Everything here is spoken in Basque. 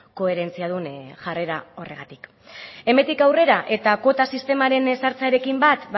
koherentziadun jarrera horregatik hemendik aurrera eta kuota sistemaren ezartzearekin bat